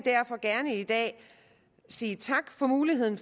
gerne i dag sige tak for muligheden